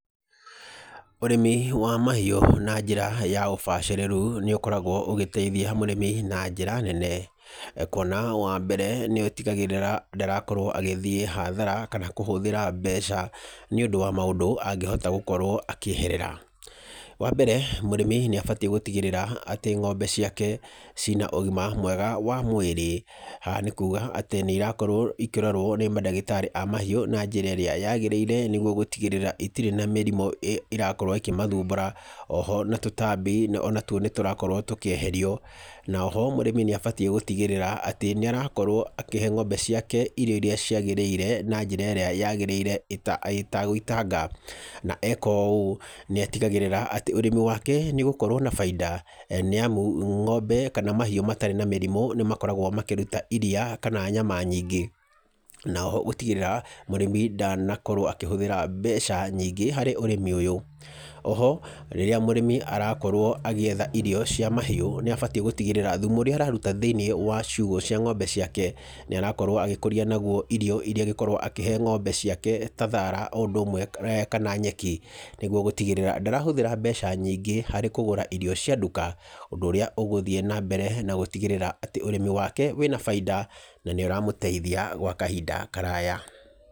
Ũrĩmi wa mahiũ na njĩra ya ũbacĩrĩru nĩ ũkoragwo ũgĩteithia mũrĩmi na njĩra nene, kwona wa mbere nĩ ũtigagĩrĩra ndarakorwo agĩthiĩ hathara, kana kũhũthĩra mbeca nĩ ũndũ wa maũndũ angĩhota gũkorwo akĩeherera. Wa mbere, mũrĩmi nĩ abatiĩ gũtigĩrĩra atĩ ng'ombe ciake ciĩ na ũgima mwega wa mwĩrĩ. Haha nĩ kuuga atĩ nĩ irakorwo ikĩrorwo nĩ mandagĩtarĩ a mahiũ na njĩra ĩrĩa yagĩrĩire nĩguo gũtigĩrĩra itirĩ na mĩrimũ ĩrakorwo ĩkĩmathumbũra, oho na tũtambi ona two nĩ tũrakorwo tũkĩeherio. Na oho mũrĩmi nĩ abatiĩ gũtigĩrĩra atĩ nĩ arakorwo akĩhe ng'ombe ciake irio iria ciagĩrĩire na njĩra ĩrĩa yagĩrĩire ĩtagũitanga, na eka ũũ nĩatigagĩrĩra atĩ ũrĩmi wake nĩ ũgũkorwo na bainda nĩ amu ng'ombe kana mahiũ matarĩ na mĩrimu nĩ makoragwo makĩruta iria kana nyama nyingĩ, na oho gũtigĩrĩra mũrĩmi ndanakorwo akĩhũthĩra mbeca nyingĩ harĩ ũrĩmi ũyũ. Oho, rĩrĩa mũrĩmi arakorwo agĩetha irio cia mahiũ nĩ abatiĩ gũtigĩrĩra thumu ũrĩa araruta thĩ-inĩ wa ciugũ cia ng'ombe ciake nĩ arakorwo agĩkũria naguo irio iria angĩkorwo akĩhe ng'ombe ciake ta thaara o ũndũ ũmwe kana nyeki, nĩguo gũtigĩrĩra ndarahũthĩra mbeca nyingĩ harĩ kũgũra irio cia nduka, ũndũ ũrĩa ũgũthiĩ na mbere na gũtigĩrĩra atĩ ũrĩmi wake wĩna bainda na nĩ ũramũteithia gwa kahinda karaya.